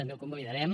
també el convalidarem